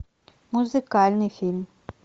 музыкальный фильм